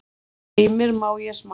Heimir: Má ég smakka?